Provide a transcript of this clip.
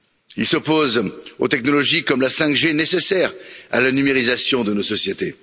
Ils s'opposent aux technologies, comme la 5G, nécessaires à la numérisation de nos sociétés.